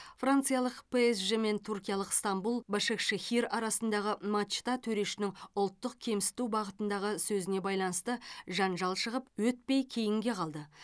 франциялық псж мен түркиялық ыстанбұл башакшехир арасындағы матчта төрешінің ұлттық кемсіту бағытындағы сөзіне байланысты жанжал шығып өтпей кейінге қалды